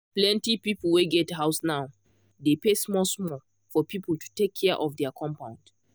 plenty people wey get house now dey pay small small for people to take care of their compound.